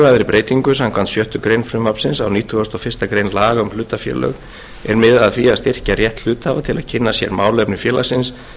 breytingu samkvæmt sjöttu greinar frumvarpsins á nítugasta og fyrstu grein laga um hlutafélög er miðað að því að styrkja rétt hluthafa til að kynna sér málefni félagsins